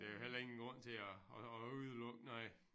Der er jo heller ingen grund til at at at udelukke noget